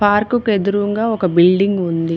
Park కు ఎదురుంగా ఒక బిల్డింగ్ ఉంది.